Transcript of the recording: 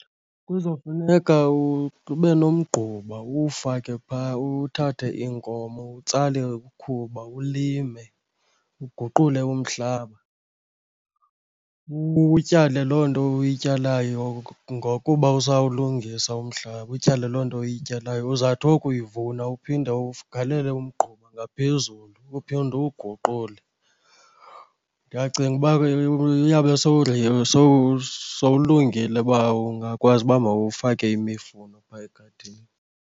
Kuzofuneka ube nomgquba uwufake phaa, uthathe iinkomo utsale ikhuba ulime, uguqule umhlaba. Utyale loo nto uyityalayo ngokuba usawulungisa umhlaba, utyale loo nto uyityalayo. Uzawuthi wokuyivuna uphinde ugalele umgquba ngaphezulu uphinde uwuguqule. Ndiyacinga uba ke uyawube sowulungile uba ungakwazi uba mawufake imifuno phaa egadini.